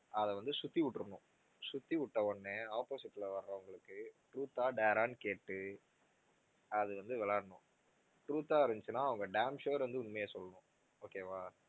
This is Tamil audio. அதை வந்து சுத்தி விட்டுறனும் சுத்தி விட்ட உடனே opposite ல வர்றவுங்களுக்கு truth ஆ dare ஆன்னு கேட்டு அது வந்து விளையாடணும் truth ஆ இருந்துச்சுன்னா அவங்க damn sure உண்மைய சொல்லணும் okay வா